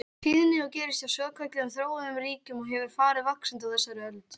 tíðni og gerist hjá svokölluðum þróuðum ríkjum og hefur farið vaxandi á þessari öld.